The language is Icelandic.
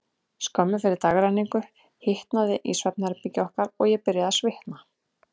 Skömmu fyrir dagrenningu hitnaði í svefnherbergi okkar, og ég byrjaði að svitna.